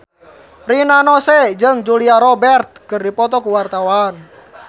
Rina Nose jeung Julia Robert keur dipoto ku wartawan